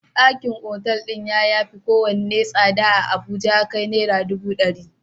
Ɗaki a otal din ya yafi kowane tsada a Abuja ya kai Naira dubu dari.